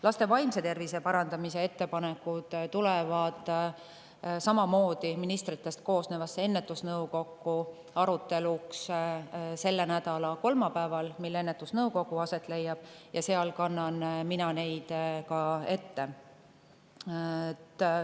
Laste vaimse tervise parandamise ettepanekud tulevad samamoodi ministritest koosnevasse ennetusnõukokku arutelule selle nädala kolmapäeval, mil ennetusnõukogu aset leiab, ja seal kannan mina neid ka ette.